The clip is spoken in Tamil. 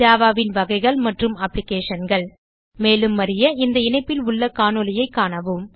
Javaன் வகைகள் மற்றும் Applicationகள் மேலும் அறிய இந்த இணைப்பில் உள்ள காணொளியைக் காணவும்